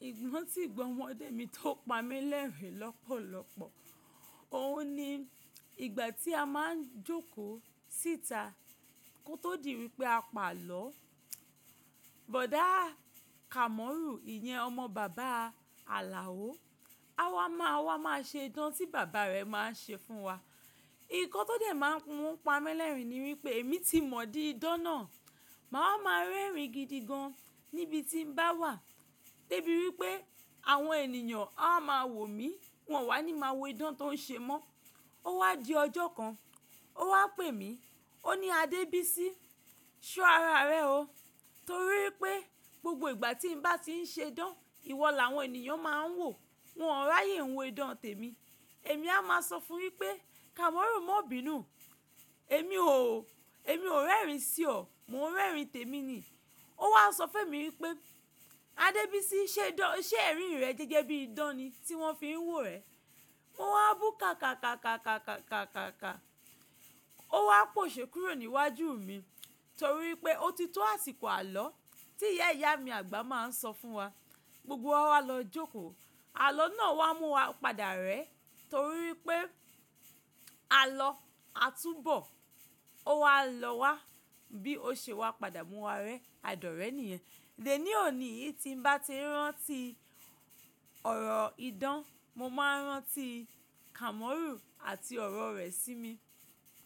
Mo rántí ìgbà ọmọdé mi tó pa mí lẹ́rìn-ín lọ́pọ̀lọpọ̀. Òun ni ìgbà tí a máa ń jókòó síta kó tó di wípé a pàlọ́. Bọ̀dá Kamoru ìyẹn ọmọ bàbá Alao, á wá máa, wá máa ṣe idán tí bàbá rẹ̀ máa ń ṣe fún wa. Nǹkan tó dẹ̀ máa ń mú u pa mí lẹ́rìn-ín ni wípé èmi ti mọ̀ di idán náà, màá máa ń rẹ́rìn-ín gidi gan níbi tí n bá wà, débí wípé àwọn ènìyàn á máa wò mí, wọ́n wá ní máa wo idán tó ń ṣe mọ́. Ó wá di ọjọ́ kan, ó wá pè mí, ó ní "Adébísí, ṣọ ara rẹ o, torí wípé gbogbo ìgbà tí n bá ti ń ṣe idán, ìwọ làwọn ènìyàn máa ń wò, wọ́n ò ráyè ń wo idán tèmi." Èmi a máa sọ fún un wípé "Kamoru, má bínu, èmi ò, èmi ò rẹ́rìn-ín sí ọ, mò ń rẹ́rìn-ín tèmi ni." Ó wá sọ fún èmi wípé "Adébísí, ṣe idán, ṣé ẹ̀rín rẹ jẹ́ gẹ́gẹ́ bíi idán ni tí wọ́n fi ń wò rẹ?" Mo wá bù ká kàá kàá kàá kàá kàá kàá. Ó wá pòṣè kúrò ní iwájú mi, torí wípé ó ti tó àsìkò àlọ́ tí ìyá ìyá mi àgbà máa ń sọ fún wa. Gbogbo wa wá lọ jókòó, àlọ́ náà wá mú wa padà rẹ́ torí wípé àlọ́ á túbọ̀ ó wá lọ wá bí ó ṣe wá padà mú wa rẹ́, àìdọ́rẹ́ ènìyàn. Dè ní òní yí tí n bá ti ń rántí ọ̀rọ̀ idán, mo máa ń rántí Kamoru àti ọ̀rọ̀ rẹ̀ sí mi.